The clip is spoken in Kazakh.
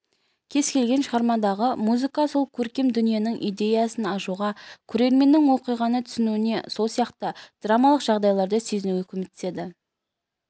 кез-келген шығармадағы музыка сол көркем дүниенің идеясын ашуға көрерменнің оқиғаны түсінуіне сол сияқты драмалық жағдайларды сезінуіне көмектеседі